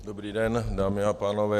Dobrý den, dámy a pánové.